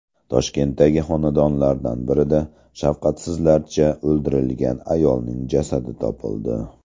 Toshkentdagi xonadonlardan biridan shafqatsizlarcha o‘ldirilgan ayolning jasadi topildi.